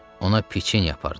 Ona piçenya apardım.